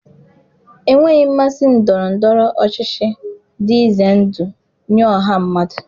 Enweghị mmasị ndọrọ ndọrọ ọchịchị dị ize ndụ nye ọha mmadụ.